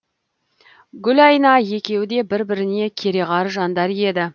гүлайна екеуі де бір біріне керағар жандар еді